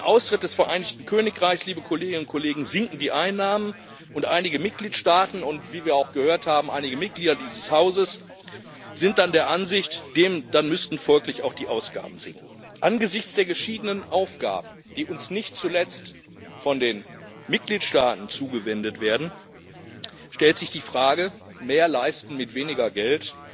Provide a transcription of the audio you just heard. Durch den Austritt des Vereinigten Königreichs sinken die Einnahmen, und einige Mitgliedstaaten und wie wir auch gehört haben einige Mitglieder dieses Hauses sind der Ansicht, dass dann folglich auch die Ausgaben sinken müssten. Angesichts der geschiedenen Aufgaben, die uns nicht zuletzt von den Mitgliedstaaten zugewiesen werden, stellt sich die Frage mehr leisten mit weniger Geld?